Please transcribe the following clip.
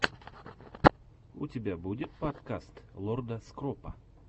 у тебя будет подкаст лорда скропа